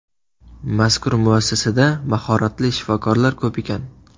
Mazkur muassasada mahoratli shifokorlar ko‘p ekan.